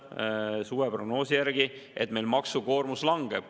Suveprognoos näitab, et meil maksukoormus langeb.